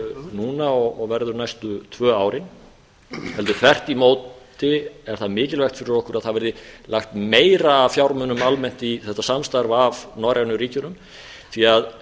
núna og verður næstu tvö árin heldur þvert í móti er það mikilvægt fyrir okkur að það verði lagt meira af fjármunum almennt í þetta samstarf af norrænu ríkjunum því að